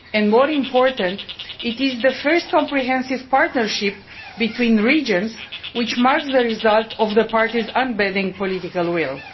More importantly, it is the first comprehensive partnership between the regions which marks the result of the parties' unbending political will.